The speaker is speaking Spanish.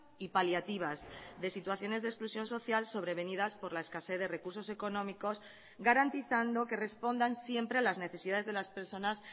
y paliativas de situaciones de exclusión social sobrevenidas por la escasez de recursos económicos garantizando que respondan siempre a las necesidades de las personas